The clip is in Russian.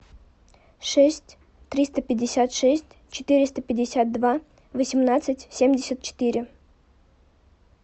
шесть триста пятьдесят шесть четыреста пятьдесят два восемнадцать семьдесят четыре